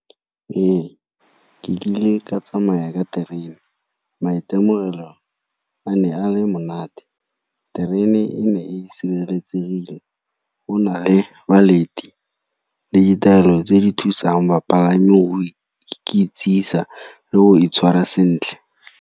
Ee, ke kile ka tsamaya ka terene, maitemogelo a ne a le monate. Terene e ne e sireletsegile go na le le ditaelo tse di thusang bapalami go ikitsisa le go itshwara sentle.